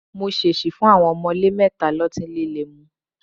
Mo ṣèṣì fún àwọn ọ̀mọ̀lé mẹ́ta lọ́tí líle mu